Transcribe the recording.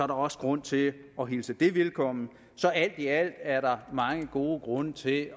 der også grund til at hilse det velkommen så alt i alt er der mange gode grunde til at